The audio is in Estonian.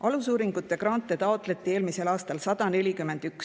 Alusuuringute grante taotleti eelmisel aastal 141.